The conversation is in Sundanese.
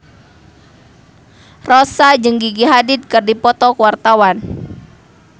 Rossa jeung Gigi Hadid keur dipoto ku wartawan